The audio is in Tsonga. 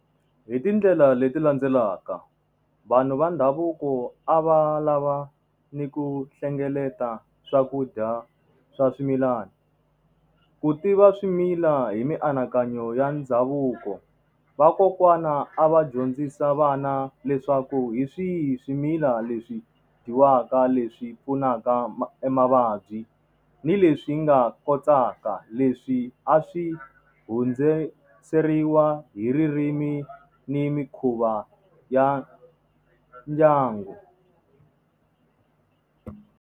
Hi tindlela leti landzelaka. Vanhu va ndhavuko a va lava ni ku hlengeleta swakudya swa swimilana, ku tiva swimila hi mianakanyo ya ndhavuko. Vakokwana a va dyondzisa vana leswaku hi swihi swimila leswi dyiwaka leswi pfunaka emavabyi ni leswi nga kotaka leswi a swi hundziseriwa hi ririmi ni mikhuva ya ndyangu.